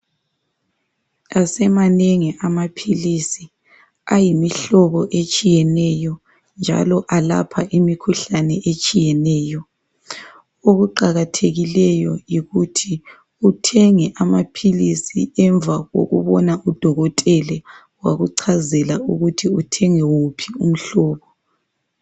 Asemanengi amaphilisi ayimihlobo etshiyeneyo njalo alapha imikhuhlane etshiyeneyo okuqakathekileyo yikuthi uthenge amaphilisi emva kokubona udokotele wakuchazela ukuthi uthenge wuphi umhlobo.